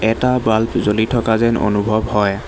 এটা বাল্ব জ্বলি থকা যেন অনুভৱ হয়।